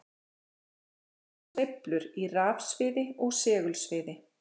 Ljós er sveiflur í rafsviði og segulsviði.